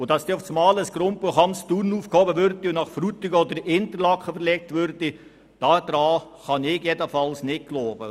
Dass umgekehrt das Grundbuchamt in Thun aufgehoben und nach Frutigen oder Interlaken verlegt würde, kann ich nicht glauben.